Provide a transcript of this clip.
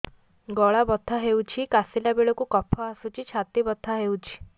ଗଳା ବଥା ହେଊଛି କାଶିଲା ବେଳକୁ କଫ ଆସୁଛି ଛାତି ବଥା ହେଉଛି